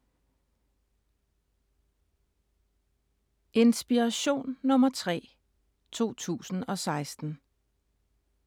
Inspiration nr. 3, 2016